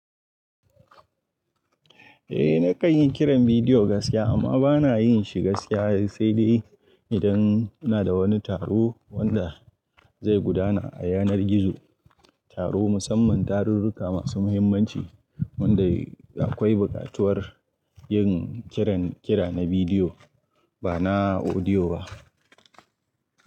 Eh nakan yi kiran bidiyo gaskiya amma bana yinshi gaskiya sai dai idan inada wani taro wanda zai gudana a yanar gizo, taro musamman tarurruka masu muhimmanci wanda akwai bukatuwar yin kiran kira na bidiyo bana audio ba.